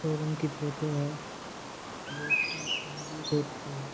Showroom की photo है जो की एम् जी रोड पे है।